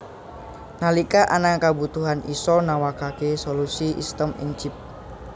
Nalika ana kabutuhan isa nawakake solusi sistem ing Chip